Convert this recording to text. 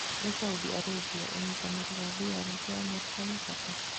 Harĩ Saudi Arabia, ũnyitĩrĩri wa mbirarũ cia America wĩna bata